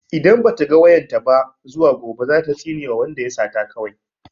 Idan ba ta ga wayan ta ba zuwa gobe za ta tsinewa wanda ya sata kawai.